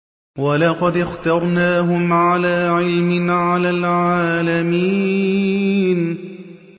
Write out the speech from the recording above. وَلَقَدِ اخْتَرْنَاهُمْ عَلَىٰ عِلْمٍ عَلَى الْعَالَمِينَ